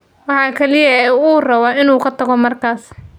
Waxa kaliya ee uu rabo waa inuu ka tago markaas.